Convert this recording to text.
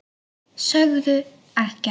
Sögðu ekkert.